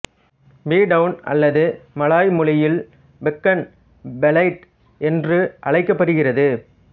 B town அல்லது Malay மொழியில் Pekan Belait என்று அழைக்கப்படுகிறது